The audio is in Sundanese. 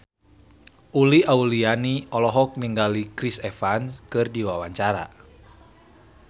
Uli Auliani olohok ningali Chris Evans keur diwawancara